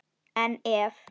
En ef?